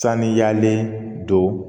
Saniyalen don